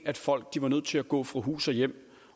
at folk var nødt til at gå fra hus og hjem